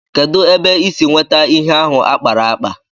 Ebéé ka ị si nwétá ihe ahụ a kpara ákpá?